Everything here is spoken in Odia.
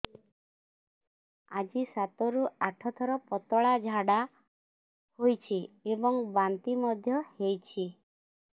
ଆଜି ସାତରୁ ଆଠ ଥର ପତଳା ଝାଡ଼ା ହୋଇଛି ଏବଂ ବାନ୍ତି ମଧ୍ୟ ହେଇଛି